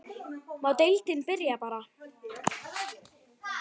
Má deildin byrja bara?